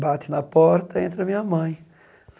Bate na porta, entra minha mãe.